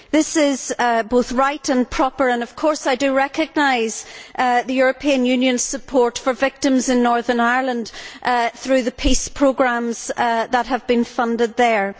This is both right and proper and, of course, I do recognise the European Union's support for victims in Northern Ireland through the PEACE programmes that have been funded there.